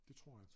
Det tror jeg